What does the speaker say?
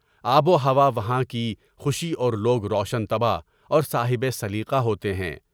آب و ہوا وہا کی خوشی اور لوگ روشن طبع اور صاحب سلیقہ ہوتے ہیں۔